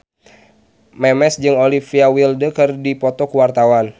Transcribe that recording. Memes jeung Olivia Wilde keur dipoto ku wartawan